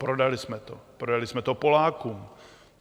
Prodali jsme to, prodali jsme to Polákům.